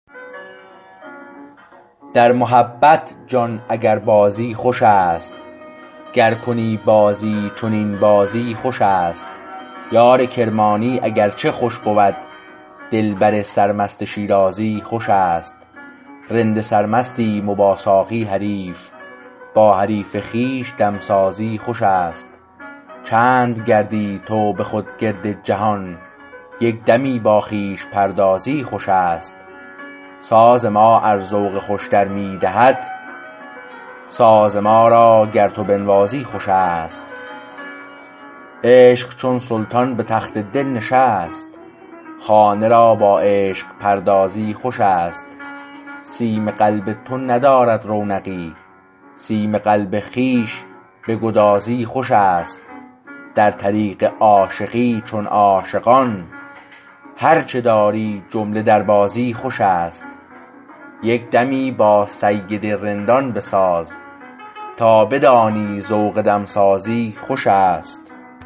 در محبت جان اگر بازی خوش است گر کنی بازی چنین بازی خوش است یار کرمانی اگر چه خوش بود دلبر سر مست شیرازی خوش است رند سرمستیم و با ساقی حریف با حریف خویش دمسازی خوش است چند گردی تو به خود گرد جهان یک دمی با خویش پردازی خوش است ساز ما ار ذوق خوشتر می دهد ساز ما را گر تو بنوازی خوش است عشق چون سلطان به تخت دل نشست خانه را با عشق پردازی خوش است سیم قلب تو ندارد رونقی سیم قلب خویش بگدازی خوش است در طریق عاشقی چون عاشقان هر چه داری جمله دربازی خوش است یک دمی با سید رندان بساز تا بدانی ذوق دمسازی خوش است